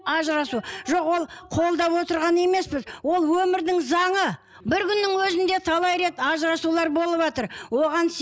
ажырасу жоқ ол қолдап отырған емеспіз ол өмірдің заңы бір күннің өзінде талай рет ажырасулар болыватыр оған